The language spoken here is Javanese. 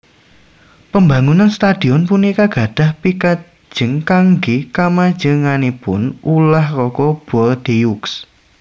Pambangunan stadhion punika gadhah pikajeng kanggé kamajenganipun ulah raga Bordeaux